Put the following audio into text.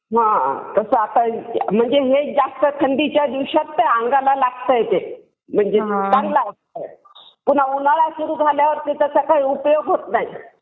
म्हणजे हे जास्त थंडीच्या दिवसात हे अंगाला लागतंय. म्हणजे चांगलं असतंय. पुन्हा उन्हाळा सुरु झाल्यावर त्याचा काही उपयोग होत नाही.